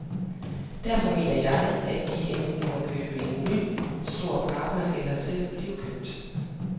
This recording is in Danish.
Derfor mener jeg, at de enten må købe en ny, stor partner eller selv blive købt.